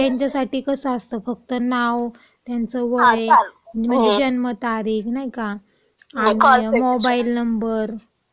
त्यांच्यासाठी कसं असतं, फक्त नाव, त्यांचं वय, मग जन्मतारीख नाही का, आणि मोबाईल नंबर